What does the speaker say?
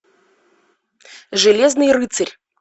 железный рыцарь